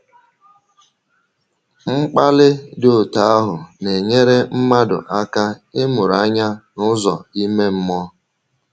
Mkpàlì dị otú ahụ, na-enyèrè mmàdụ aka ịmụrụ anya n’ụ̀zọ ime mmụọ.